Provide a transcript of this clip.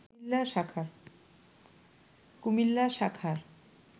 কুমিল্লা শাখার